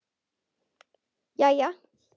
SOPHUS: Jæja!